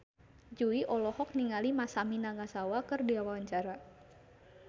Jui olohok ningali Masami Nagasawa keur diwawancara